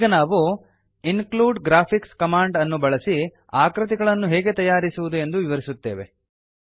ಈಗ ನಾವು include graphics command ಬಳಸಿ ಆಕೃತಿಗಳನ್ನು ಹೇಗೆ ತಯಾರಿಸುವುದು ಎಂದು ವಿವರಿಸುತ್ತೇವೆ